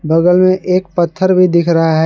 बगल में एक पत्थर भी दिख रहा है।